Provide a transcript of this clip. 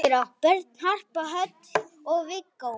Börn: Harpa Hödd og Viggó.